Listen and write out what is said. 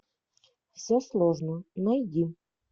все сложно найди